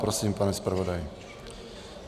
Prosím, pane zpravodaji.